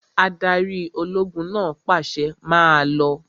Adarí ológun náà pàṣẹ, 'Máa lọ!